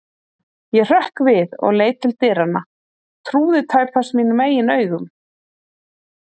Ég hrökk við og leit til dyranna, trúði tæpast mínum eigin augum.